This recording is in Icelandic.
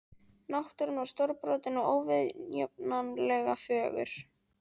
Náttúran var stórbrotin og óviðjafnanlega fögur.